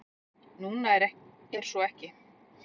Núna er svo ekki.